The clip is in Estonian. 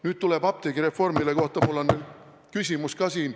Nüüd tuleb apteegireform, mille kohta mul on ka siin küsimus.